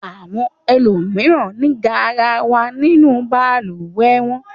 Àwọn ẹlòmíràn ní garawa nínú balùwẹ̀ wọn.